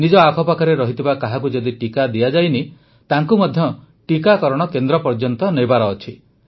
ନିଜ ଆଖପାଖରେ ଥିବା କାହାକୁ ଯଦି ଟିକା ଦିଆଯାଇନାହିଁ ତାଙ୍କୁ ମଧ୍ୟ ଟିକାକରଣ କେନ୍ଦ୍ର ପର୍ଯ୍ୟନ୍ତ ନେବାର ଅଛି